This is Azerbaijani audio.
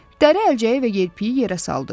Dəri əlcəyi və yelpiyi yerə saldı.